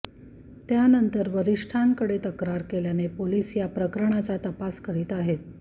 त्यानंतर वरिष्ठांकडे तक्रार केल्याने पोलीस या प्रकरणाचा तपास करीत आहेत